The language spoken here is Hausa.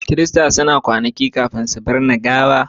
kirista suna kwanaki kafin su binne gawa